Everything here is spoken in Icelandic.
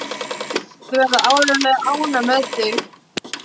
Þau verða áreiðanlega ánægð með þig.